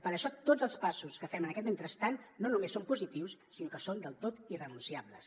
per això tots els passos que fem en aquest mentrestant no només són positius sinó que són del tot irrenunciables